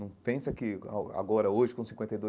Não pensa que a agora, hoje, com cinquenta e dois.